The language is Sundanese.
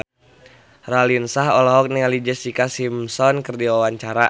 Raline Shah olohok ningali Jessica Simpson keur diwawancara